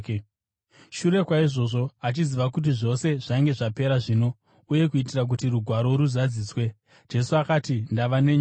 Shure kwaizvozvo, achiziva kuti zvose zvainge zvapera zvino, uye kuitira kuti Rugwaro ruzadziswe, Jesu akati, “Ndava nenyota.”